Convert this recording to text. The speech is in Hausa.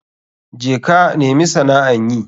Je ka nemi sana'an yi.